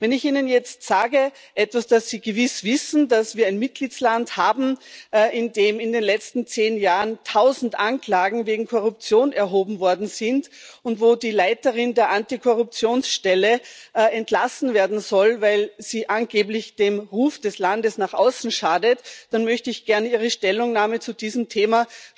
Wenn ich Ihnen jetzt sage etwas, das Sie gewiss wissen dass wir einen Mitgliedstaat haben, in dem in den letzten zehn Jahren 1000 Anklagen wegen Korruption erhoben worden sind und wo die Leiterin der Antikorruptionsstelle entlassen werden soll, weil sie angeblich dem Ruf des Landes nach außen schadet, dann möchte ich sehr wohl wissen, wie Ihre Stellungnahme zu diesem Thema